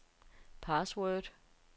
password